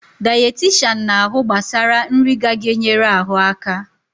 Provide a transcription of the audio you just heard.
Dayetishan na-ahụ gbasara nri ga-ga-enyere ahụ aka